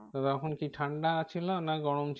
তো তখন কি ঠান্ডা ছিলনা গরম ছিল